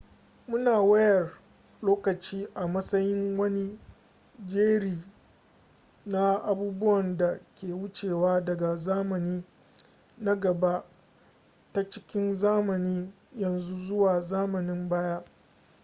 muna wayar lokaci a matsayin wani jeri na abubuwan da ke wucewa daga zamani na gaba ta cikin zamanin yanzu zuwa zamanin baya